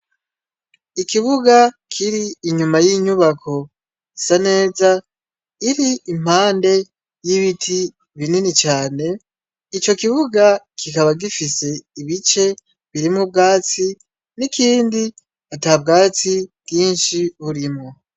Ikibuga kiri inyuma y'inyubako sa neza iri impande y'ibiti binini cane .ico kibuga kikaba gifise ibice biri mu bwatsi n'ikindi ata bwatsi bwinshi burimo.